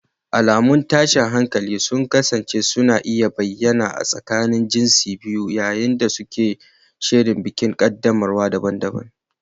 Alamun tashin hankali sun kasance suna iya bayyana a tsakanin jinsin biyu yayin da suke shirin bikin qaddamarwa daban-daban.